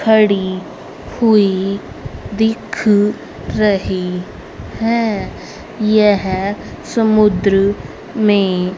खड़ी हुई दिख रही है यह समुद्र में--